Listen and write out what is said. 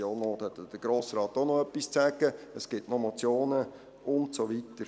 Dazu hat der Grosse Rat dann auch noch etwas zu sagen, es gibt noch Motionen und so weiter.